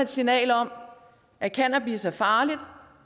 signal om at cannabis er farligt